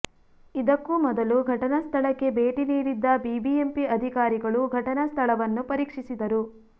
ಇದಕ್ಕೂ ಮೊದಲು ಘಟನಾ ಸ್ಥಳಕ್ಕೆ ಭೇಟಿ ನೀಡಿದ್ದ ಬಿಬಿಎಂಪಿ ಅಧಿಕಾರಿಗಳು ಘಟನಾ ಸ್ಥಳವನ್ನು ಪರೀಕ್ಷಿಸಿದರು